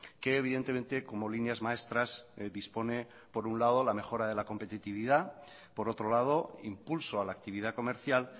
que evidentemente como líneas maestras dispone por un lado la mejora de la competitividad por otro lado impulso a la actividad comercial